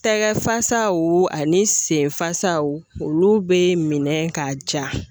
Tɛgɛ fasaw ani sen fasaw olu bɛ minɛ ka ja.